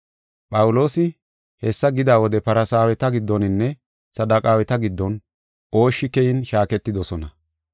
Phawuloosi hessa gida wode Farsaaweta giddoninne Saduqaaweta giddon ooshshi keyin shaaketidosona.